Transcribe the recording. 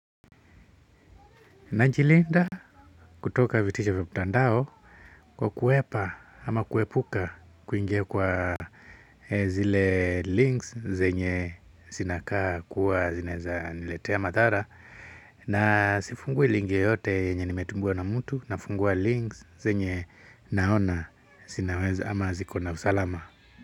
Najilinda kutoka vitisho vya mtandao kwa kuhepa ama kuepuka kuingia kwa zile links zenye zinakaa kuwa zinaweza niletea madhara na sifungui linki yote yenye nimetumiwa na mtu nafungua links zenye naona zinaweza ama zikona usalama.